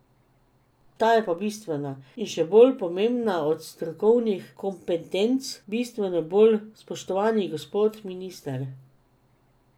Ta je pa bistvena in še bolj pomembna od strokovnih kompetenc, bistveno bolj, spoštovani gospod minister.